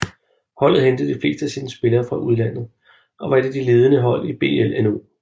Holdet hentede de fleste af sine spillere fra udlandet og var et af de ledende hold i BLNO